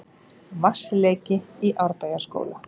Vatnsleki í Árbæjarskóla